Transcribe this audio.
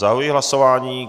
Zahajuji hlasování.